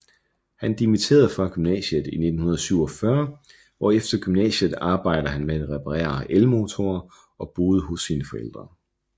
Han dimitterede fra gymnasiet i 1947 og efter gymnasiet arbejdede han med at reparerer elmotorer og boede hos sine forældre